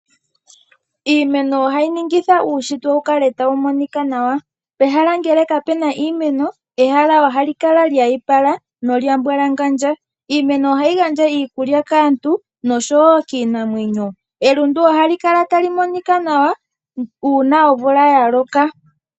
Iimeno ohayi monikitha uushitwe opo wukale tawu monika nawa pehala ngele kapuna iimeno ,ehala ohali kala lya ipala nolyambalangandja. Iimeno ohayi gandja iimeno kaantu oshowo kiinamwenyo elundu. ohali kala tali monika nawa uuna omvula ya loka.